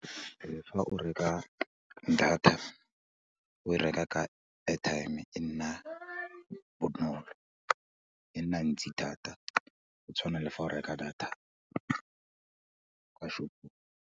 Fa o reka data, o e reka ka airtime e nna bonolo, e nna ntsi thata go tshwana le fa o reka data kwa shopong.